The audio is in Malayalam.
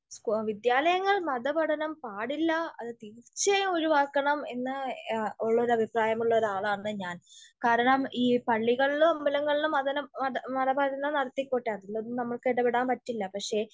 വിദ്യാലയങ്ങളിൽ മത പഠനം പാടില്ല, അത് തീർച്ചയായും ഒഴിവാക്കണം എന്ന് ഉള്ളൊരു അഭിപ്രായം ഉള്ള ഒരു ആളാണ് ഞാൻ. കാരണം ഈ പള്ളികളിലും അമ്പലങ്ങളിലും മതനം, മത, മതപഠനം നടത്തിക്കോട്ടെ അതിലൊന്നും നമുക്ക് ഇടപെടാൻ പറ്റില്ല. പക്ഷെ,